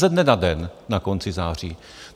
Ze dne na den na konci září.